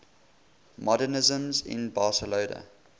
modernisme in barcelona